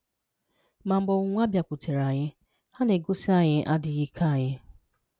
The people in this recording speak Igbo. Mà mgbe ọnwụ́nwà bịàkwùtèré anyị, ha na-egosí anyị adị́ghị́ ike anyị